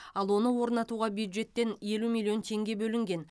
ал оны орнатуға бюджеттен елу миллион теңге бөлінген